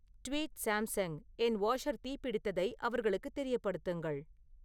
tweet Samsung என் washer தீப்பிடித்ததை அவர்களுக்குத் தெரியப்படுத்துங்கள்